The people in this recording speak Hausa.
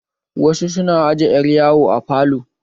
Wasu su na aje ƴar yawo a falo